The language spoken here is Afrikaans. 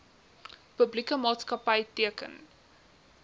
publieke maatskapy teken